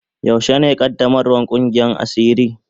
Yaushe ne qaddamarwan Kungiyan asiri.